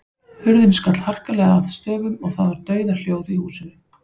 Hurðin skall harkalega að stöfum og það var dauðahljóð í húsinu.